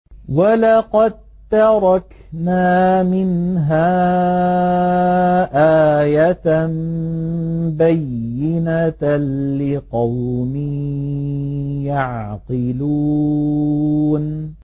وَلَقَد تَّرَكْنَا مِنْهَا آيَةً بَيِّنَةً لِّقَوْمٍ يَعْقِلُونَ